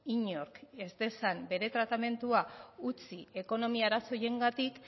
inork ez dezan bere tratamendua utzi ekonomia arazo horiengatik